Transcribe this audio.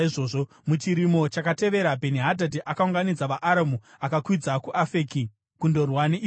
Muchirimo chakatevera Bheni-Hadhadhi akaunganidza vaAramu akakwidza kuAfeki kundorwa neIsraeri.